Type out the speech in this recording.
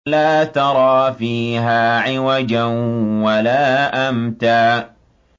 لَّا تَرَىٰ فِيهَا عِوَجًا وَلَا أَمْتًا